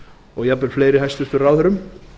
og jafnvel fleirum hæstvirtum ráðherrum